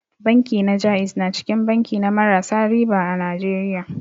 Banki na ja'iz na cikin banki na marasa riba a Najeriya.